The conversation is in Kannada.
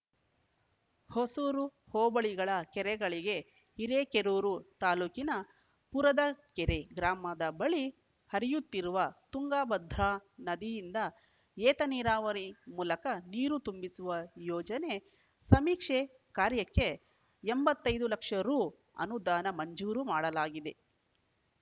ಹೊಸೂರು ಹೋಬಳಿಗಳ ಕೆರೆಗಳಿಗೆ ಹಿರೇಕೆರೂರು ತಾಲೂಕಿನ ಪುರದಕೆರೆ ಗ್ರಾಮದ ಬಳಿ ಹರಿಯುತ್ತಿರುವ ತುಂಗಭದ್ರಾ ನದಿಯಿಂದ ಏತ ನೀರಾವರಿ ಮೂಲಕ ನೀರು ತುಂಬಿಸುವ ಯೋಜನೆ ಸಮೀಕ್ಷೆ ಕಾರ್ಯಕ್ಕೆ ಎಂಬತ್ತೈದು ಲಕ್ಷ ರು ಅನುದಾನ ಮಂಜೂರು ಮಾಡಲಾಗಿದೆ